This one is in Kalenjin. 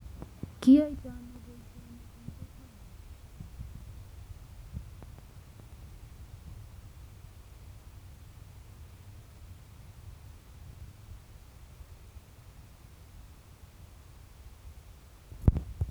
Tos kiyoitoi ano boishonik en kokweng'ung